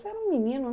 Você era um menino